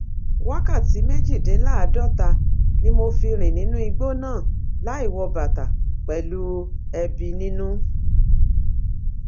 wákàtí méjìdínláàádọta ni mo fi rìn nínú igbó náà láì wọ bàtà pẹlú ẹbí nínú